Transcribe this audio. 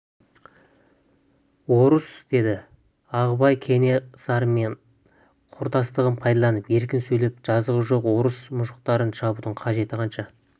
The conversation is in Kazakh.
дұрыс деді ағыбай кенесарымен құрдастығын пайдаланып еркін сөйлеп жазығы жоқ орыс мұжықтарын шабудың қажеті қанша